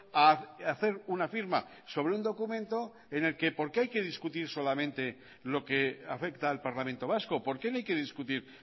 a hacer una firma sobre un documento en el que por qué hay que discutir solamente lo que afecta al parlamento vasco por qué no hay que discutir